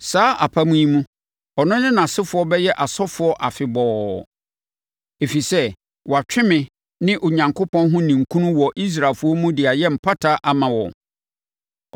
Saa apam yi mu, ɔno ne nʼasefoɔ bɛyɛ asɔfoɔ afebɔɔ, ɛfiri sɛ watwe me, ne Onyankopɔn, ho ninkunu wɔ Israelfoɔ mu de ayɛ mpata ama wɔn.”